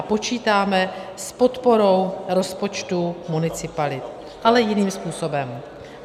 A počítáme s podporou rozpočtu municipalit, ale jiným způsobem.